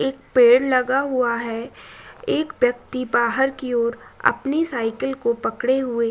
एक पेड़ लगा हुआ है एक व्यक्ति बाहर की ओर अपनी साइकिल को पकड़े हुए --